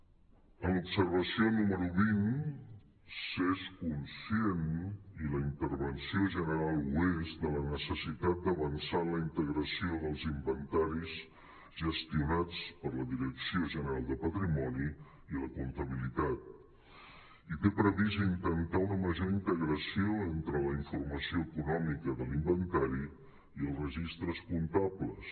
en l’observació número vint s’és conscient i la intervenció general ho és de la necessitat d’avançar en la integració dels inventaris gestionats per la direcció gene·ral de patrimoni i la comptabilitat i té previst intentar una major integració entre la informació econòmica de l’inventari i els registres comptables